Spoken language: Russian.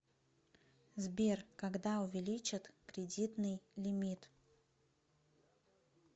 сбер когда увеличат кредитный лимит